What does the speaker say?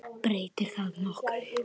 Breytir það nokkru?